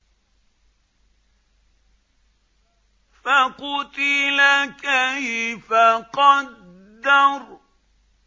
فَقُتِلَ كَيْفَ قَدَّرَ